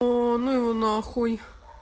о ну его на хуй